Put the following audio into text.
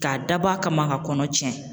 K'a dabɔ a kama ka kɔnɔ tiɲɛ